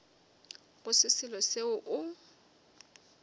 go se selo seo o